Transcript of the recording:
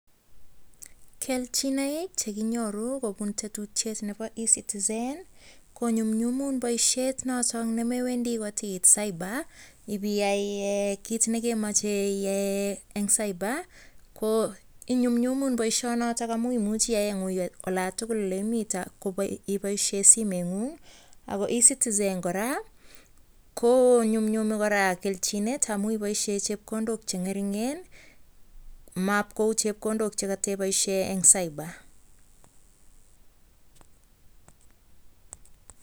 Kelchin nekinyoru kobun tetutyet Nebo e citizen konyumnyumun baishet noton nemewendii kotiit cyber ibiyai kit nekemacheiyai en cyber ko inyumnyumun baishoni noton amun imuchi iyai en olda aketugul oleimii ibaishen simoit nengung ako e citizen koraa konyumyume keljinet amun ibaishen chepkondok chengerger mau chepkondoo chigatebaishenben cyber?